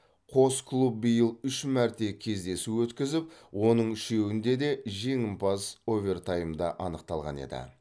қос клуб биыл үш мәрте кездесу өткізіп оның үшеуінде де жеңімпаз овертаймда анықталған еді